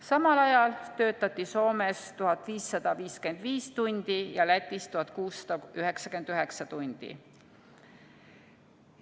Samal ajal töötati Soomes 1555 tundi ja Lätis 1699 tundi.